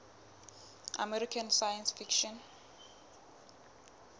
american science fiction